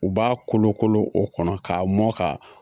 U b'a kolokolo o kɔnɔ k'a mɔn ka